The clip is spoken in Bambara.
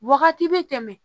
Wagati bɛ tɛmɛ